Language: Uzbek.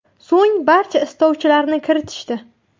So‘ng barcha istovchilarni kiritishdi.